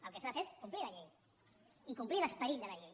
el que s’ha de fer és complir la llei i complir l’esperit de la llei